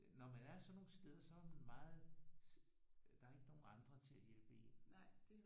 Når man er sådan nogle steder så er meget der er ikke nogle andre til at hjælpe en